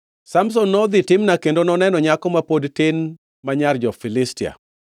Samson nodhi Timna kendo noneno nyako ma pod tin ma nyar jo-Filistia.